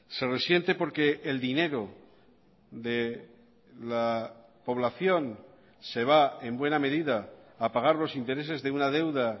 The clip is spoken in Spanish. se resiente porque el dinero de la población se va en buena medida a pagar los intereses de una deuda